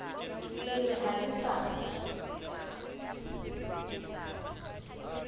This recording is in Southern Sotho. le re ha le sa